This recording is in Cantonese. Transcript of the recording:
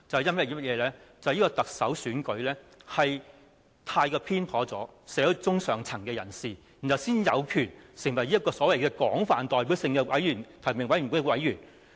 那便是特首選舉過於傾斜社會中上層的人士，才讓這些人有權成為所謂具有廣泛代表性的提名委員會的委員。